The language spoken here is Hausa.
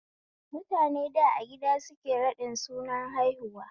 Mutane da a gida suke raɗin sunar haihuwa